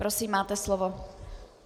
Prosím, máte slovo.